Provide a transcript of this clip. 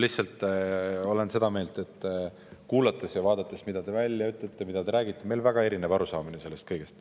Lihtsalt olen seda meelt – kuulates ja vaadates, mida te välja ütlete, mida te räägite –, et meil on väga erinev arusaamine sellest kõigest.